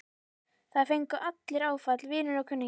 Það fengu allir áfall, vinir og kunningjar.